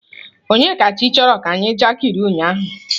Onyekachi kọrọ anyi njakịrị ụnyahụ.